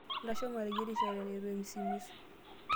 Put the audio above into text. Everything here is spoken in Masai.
Ntasho mateyierisho eton eitu emisimisu.